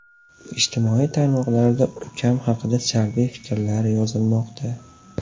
Ijtimoiy tarmoqlarda ukam haqida salbiy fikrlar yozilmoqda.